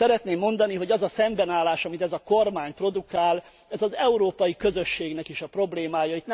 Szeretném mondani, hogy az a szembenállás, amit ez a kormány produkál, az Európai Közösségnek is a problémája.